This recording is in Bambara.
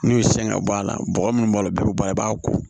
N'u y'u sɛgɛn ka bɔ a la bɔgɔ munnu b'a la bɛɛ be bɔ a la i b'a ko